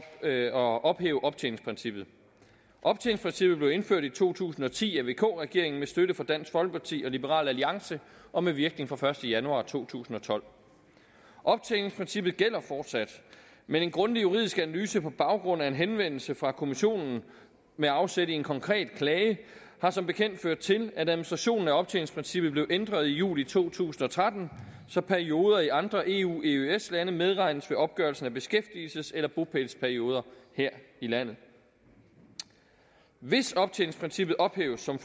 at ophæve optjeningsprincippet optjeningsprincippet blev indført i to tusind og ti af vk regeringen med støtte fra dansk folkeparti og liberal alliance og med virkning fra den første januar to tusind og tolv optjeningsprincippet gælder fortsat men en grundig juridisk analyse udarbejdet på baggrund af en henvendelse fra kommissionen med afsæt i en konkret klage har som bekendt ført til at administrationen af optjeningsprincippet blev ændret i juli to tusind og tretten så perioder i andre eu og eøs lande medregnes ved opgørelsen af beskæftigelses eller bopælsperioder her i landet hvis optjeningsprincippet ophæves som